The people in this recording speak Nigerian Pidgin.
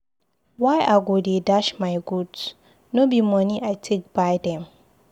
Why I go dey dash my goods? No be moni I take buy them?